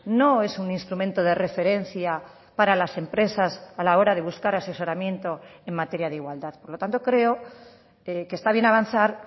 no es un instrumento de referencia para las empresas a la hora de buscar asesoramiento en materia de igualdad por lo tanto creo que está bien avanzar